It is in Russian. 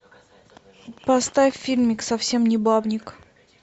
поставь фильмик совсем не бабник